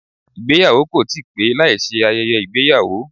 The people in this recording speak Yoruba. Ìgbéyàwó kò ti pé láìsí ayẹyẹ ìgbéyàwó